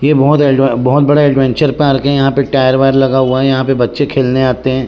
ये बहुत एड बहोत बड़ा एडवेंचर पार्क हे यहाँ पर टायर वायर लगा हुआ हे यहाँ पे बच्चे खेलने आते हे।